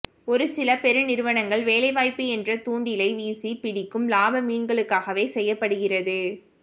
ஒருசில பெருநிறுவனங்கள் வேலைவாய்ப்பு என்ற தூண்டிலை வீசிப் பிடிக்கும் லாப மீன்களுக்காகவே செய்யப்படுகிறது